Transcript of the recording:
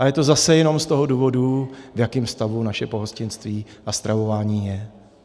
A je to zase jenom z toho důvodu, v jakém stavu naše pohostinství a stravování je.